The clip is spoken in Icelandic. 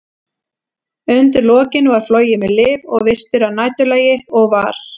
Undir lokin var flogið með lyf og vistir að næturlagi, og var